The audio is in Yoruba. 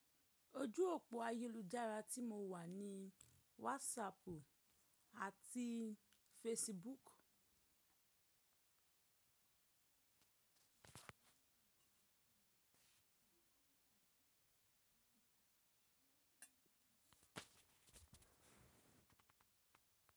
Ojú òpó ayélujára tí mo wà ni WhatsApp àti Facebook.